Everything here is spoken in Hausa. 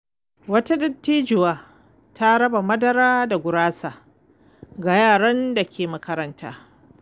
Wata dattijuwa ta raba madara da gurasa ga yaran da ke makaranta.